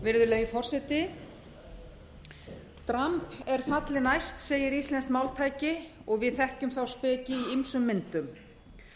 virðulegi forseti dramb er falli næst segir íslenskt máltæki og við þekkjum þá speki í ýmsum myndum